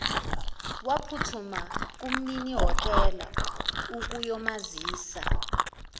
waphuthuma kumninihhotela ukuyomazisa